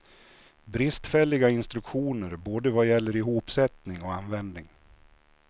Bristfälliga instruktioner både vad gäller ihopsättning och användning.